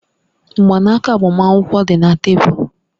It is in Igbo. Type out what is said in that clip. Mgbanaka agbamakwụkwọ dị na tebụl